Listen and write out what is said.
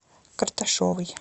карташевой